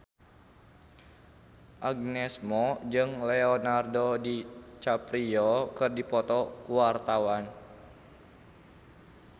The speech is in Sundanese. Agnes Mo jeung Leonardo DiCaprio keur dipoto ku wartawan